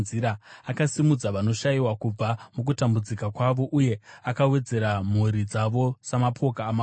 Akasimudza vanoshayiwa kubva mukutambudzika kwavo, uye akawedzera mhuri dzavo samapoka amakwai.